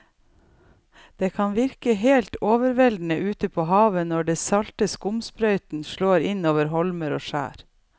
Det kan virke helt overveldende ute ved havet når den salte skumsprøyten slår innover holmer og skjær.